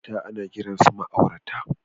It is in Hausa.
Ma'aurata ana kiransu ma'aurata